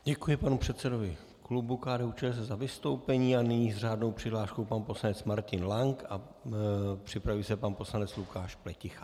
Děkuji panu předsedovi klubu KDU-ČSL za vystoupení a nyní s řádnou přihláškou pan poslanec Martin Lank a připraví se pan poslanec Lukáš Pleticha.